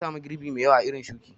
Nasamu girbe mai ƴawa a irin shuki